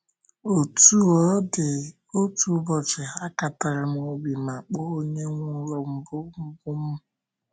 Otú ọ dị, otu ụbọchị, akatara m obi ma kpọọ onye nwe ụlọ mbụ mbụ m.